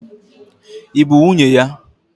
Ị bụ nwunye ya?